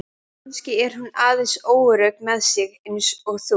Kannski er hún aðeins óörugg með sig eins og þú.